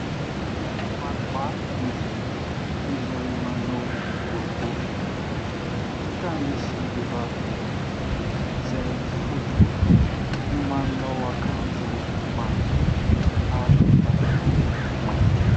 Olona maromaro mivory izay manao boribory. Hita misy vehivavy iray izay fohy volo, manao akanjo mavokely, ary pataloha mainty.